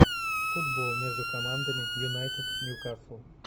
футбол между командами юнайтед ньюкасл